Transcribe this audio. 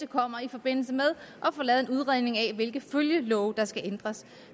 kommer i forbindelse med at få lavet en udredning af hvilke følgelove der skal ændres